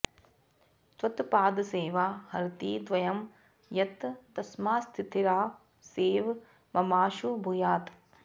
त्वत्पादसेवा हरति द्वयं यत् तस्मात्स्थिरा सैव ममाशु भूयात्